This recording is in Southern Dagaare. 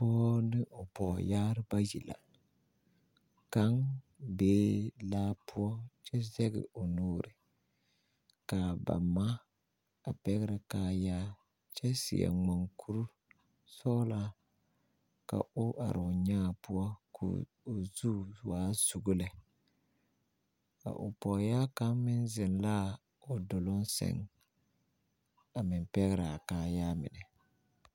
Pɔɔ ne o pɔɔyaare bayi la kaŋ bee laa poɔ kyɛ zɛŋ o nuuri kaa ba ma a pɛɡrɛ kaayaa kyɛ seɛ maŋkuri sɔɡelaa ka o are o nyaa poɔ ka o zu waa suɡo lɛ a o pɔɔyaa kaŋ meŋ zeŋ laa o doloŋ sɛŋ a meŋ pɛɡrɛ a kaayaa mine.